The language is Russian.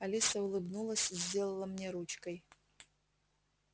алиса улыбнулась сделала мне ручкой